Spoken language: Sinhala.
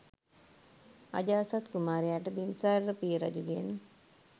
අජාසත් කුමාරයාට බිම්බිසාර පිය රජුගෙන්